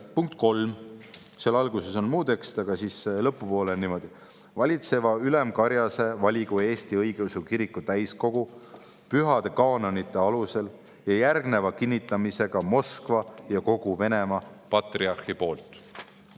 Punkt 3, alguses on muu tekst, aga lõpupoole on niimoodi: "Valitseva ülemkarjase valigu Eesti Õigeusu Kiriku täiskogu pühade kaanonite alusel ja järgneva kinnitamisega Moskva ja kogu Venemaa patriarhi poolt.